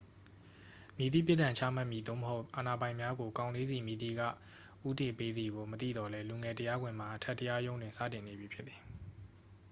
မည်သည့် ပြစ်ဒဏ်ချမှတ်မည် သို့မဟုတ် အာဏာပိုင်များကို ကောင်လေးဆီ မည်သည်က ဦးတည်ပေးသည်ကို မသိသော်လည်း လူငယ် တရားခွင်မှာ အထက်တရားရုံးတွင် စတင်နေပြီဖြစ်သည်